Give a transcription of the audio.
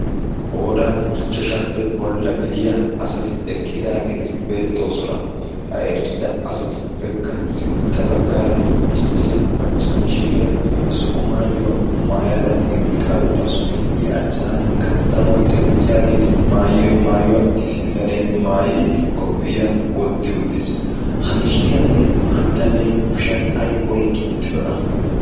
qoodan ichchashaappe bolla gidiya asati eqqidaageeti beettoosona. ha eqqida asatuppekka sintta baggaara issi macca mishiiriyaa zo77o maayuwaa maayada eqqa uttaasu. i achchaanikka danuwaa teqqiyaageeti maayiyo maayuwaa issi bitanee maayidi koppiya wotti uttiis. ha mishiriyaanne ha bitanee kushiyan ai oiqqi uttidona?